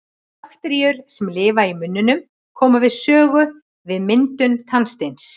bakteríur sem lifa í munninum koma við sögu við myndum tannsteins